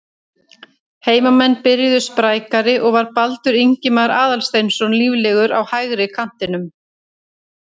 Heimamenn byrjuðu sprækari og var Baldur Ingimar Aðalsteinsson líflegur á hægri kantinum.